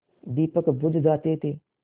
दीपक बुझ जाते थे